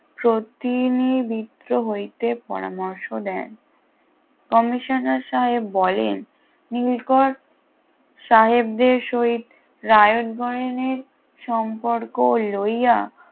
প্রতি নিবৃত্ত হইতে পরামর্শ দেন কমিশনার সাহেব বলেন নীলকর সাহেবদের সহিত রায়তগণের সম্পর্ক লইয়া